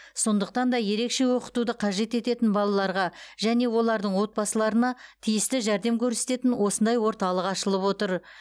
сондықтан да ерекше оқытуды қажет ететін балаларға және олардың отбасыларына тиісті жәрдем көрсететін осындай орталық ашылып отыр